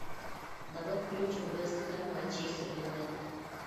давай включим вест хэм манчестер юнайтед